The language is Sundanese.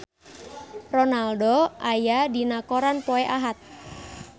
Ronaldo aya dina koran poe Ahad